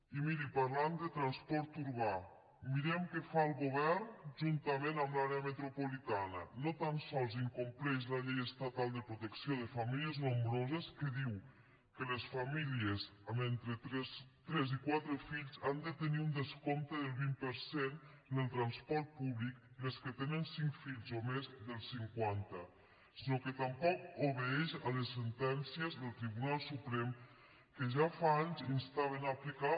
i miri parlant de transport urbà mirem què fa el govern juntament amb l’àrea metropolitana no tan sols incompleix la llei estatal de protecció de famílies nombroses que diu que les famílies amb entre tres i quatre fills han de tenir un descompte del vint per cent en el transport públic i els que tenen cinc fills o més del cinquanta sinó que tampoc obeeix a les sentències del tribunal suprem que ja fa anys instaven a aplicar